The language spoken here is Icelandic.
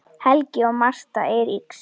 Helgi og Martha Eiríks.